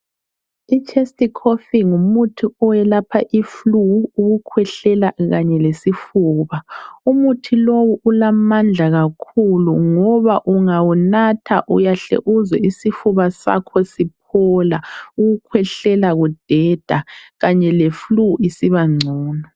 I chest Cough ngumuthi oyelapha iflue ,ukukhwehlela kanye lesifuba. Umuthi lowu ulamandla kakhulu ngoba ungawunatha uyahle uzwe isifuba sakho siphola ukukhwehlela kudeda kanye le flue isiba ngcono.